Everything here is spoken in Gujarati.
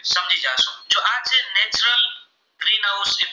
green house